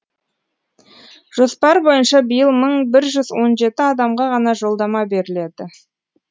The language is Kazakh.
жоспар бойынша биыл мың бір жүз он жеті адамға ғана жолдама беріледі